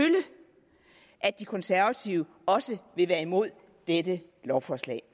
at de konservative også vil være imod dette lovforslag